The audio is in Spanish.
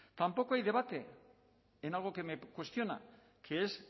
tampoco hay debate en algo que me cuestiona que es